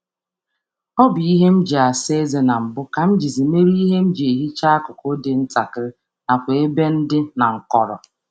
um A na m eji ahihia nji asa eze nke ochie emecha um ebe dị nta um na nkọ.